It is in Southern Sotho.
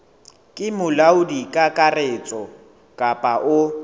ke molaodi kakaretso kapa o